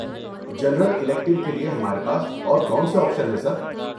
General elective کے لیے ہمارے پاس اور کون سے آپشن ہیں سر؟